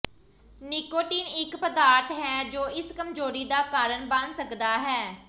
nicotine ਇੱਕ ਪਦਾਰਥ ਹੈ ਜੋ ਇਸ ਕਮਜ਼ੋਰੀ ਦਾ ਕਾਰਨ ਬਣ ਸਕਦਾ ਹੈ